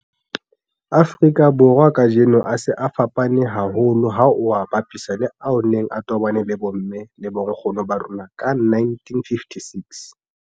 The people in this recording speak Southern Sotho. Afrika Borwa kajeno a se a fapane haholo ha o a bapisa le ao a neng a tobane le bomme le bonkgono ba rona ka 1956.